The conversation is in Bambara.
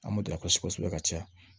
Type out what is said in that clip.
An m'o dila kɔsi kosɛbɛ ka caya